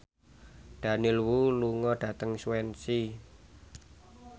Daniel Wu lunga dhateng Swansea